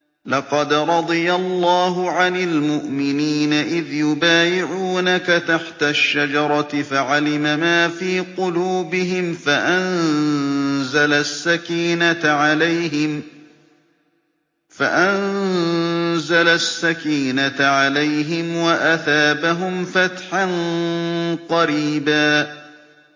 ۞ لَّقَدْ رَضِيَ اللَّهُ عَنِ الْمُؤْمِنِينَ إِذْ يُبَايِعُونَكَ تَحْتَ الشَّجَرَةِ فَعَلِمَ مَا فِي قُلُوبِهِمْ فَأَنزَلَ السَّكِينَةَ عَلَيْهِمْ وَأَثَابَهُمْ فَتْحًا قَرِيبًا